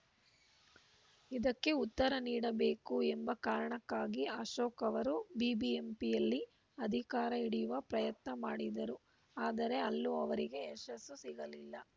ಇದಕ್ಕೆ ಉತ್ತರ ನೀಡಬೇಕು ಎಂಬ ಕಾರಣಕ್ಕಾಗಿ ಅಶೋಕ್‌ ಅವರು ಬಿಬಿಎಂಪಿಯಲ್ಲಿ ಅಧಿಕಾರ ಹಿಡಿಯುವ ಪ್ರಯತ್ನ ಮಾಡಿದರು ಆದರೆ ಅಲ್ಲೂ ಅವರಿಗೆ ಯಶಸ್ಸು ಸಿಗಲಿಲ್ಲ